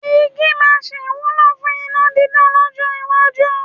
Igí máa sì wúlò fún iná dídá lọ́jọ́ iwájú.